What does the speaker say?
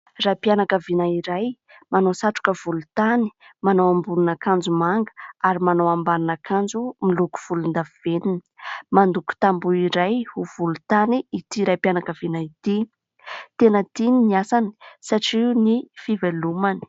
Raim-pianakaviana iray manao satroka volontany manao ambonin'akanjo manga ary manao ambanin'akanjo miloko volondavenona, mandoko tamboho iray ho volontany ity raim-pianakaviana ity, tena tiany ny asany satria io ny fivelomany.